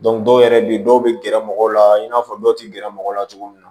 dɔw yɛrɛ bɛ yen dɔw bɛ gɛrɛ mɔgɔw la i n'a fɔ dɔw tɛ gɛrɛ mɔgɔw la cogo min na